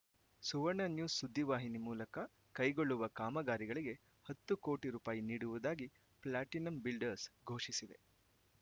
ಸುವರ್ಣ news ಸುದ್ದಿವಾಹಿನಿ ಮೂಲಕ ಕೈಗೊಳ್ಳುವ ಕಾಮಗಾರಿಗಳಿಗೆ ಹತ್ತು ಕೋಟಿ ರೂಪಾಯಿ ನೀಡುವುದಾಗಿ ಪ್ಲಾಟಿನಂ ಬಿಲ್ಡರ್ಸ್‌ ಘೋಷಿಸಿದೆ